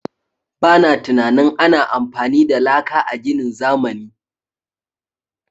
Ba na tunanin ana amfani da laka a ginin zamani.